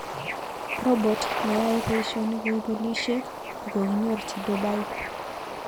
Robot neyae paishonik kou polishek kokokinyorchi Dubai